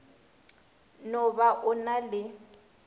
no ba o na le